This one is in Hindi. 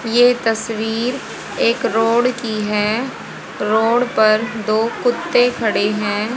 ये तस्वीर एक रोड की है। रोड पर दो कुत्ते खड़े हैं।